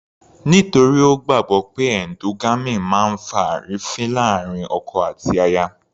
Nítorí Ó gbàgbọ́ pé endogamy máa ń fa àrífín láàrin ọkọ àti aya.